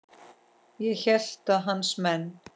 Ég hélt að hans menn.